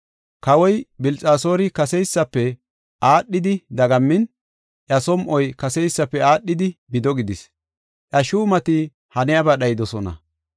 Kawoy Bilxasoori kaseysafe aadhidi dagammin, iya som7oy kaseysafe aadhidi bido gidis. Iya shuumati haniyaba dhayidosona.